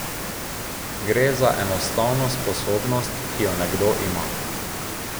Gre enostavno za sposobnost, ki jo nekdo ima.